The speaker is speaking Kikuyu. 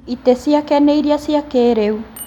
itĩ ciake nĩ irĩa cia kĩrĩu